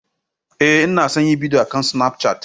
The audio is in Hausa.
Ee, ina son yin bidiyo akan Snapchat.